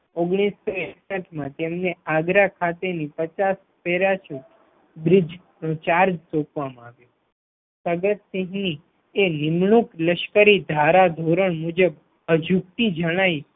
ઓગણીસો એકસઠ માં તેમને આગ્રા ખાતેની પચાસ બ્રિજ ચાર્જ સોપવામાં આવ્યો પ્રગટસિંહ તે નિમણૂક લશ્કરી ધારા ધોરણ મુજબ અજુગ્તી જણાઈ